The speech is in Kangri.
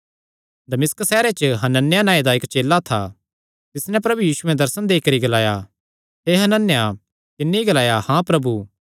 दमिश्क सैहरे च हनन्याह नांऐ दा इक्क चेला था तिस नैं प्रभु यीशुयैं दर्शन देई करी ग्लाया हे हनन्याह तिन्नी ग्लाया हाँ प्रभु